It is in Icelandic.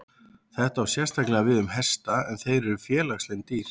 Þetta á sérstaklega við um hesta en þeir eru félagslynd dýr.